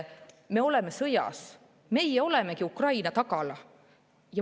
Me oleme sõjas, meie olemegi Ukraina tagala.